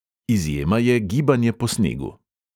Izjema je gibanje po snegu.